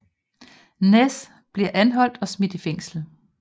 Ness bliver anholdt og smidt i fængsel